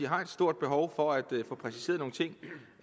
har et stort behov for at få præciseret nogle ting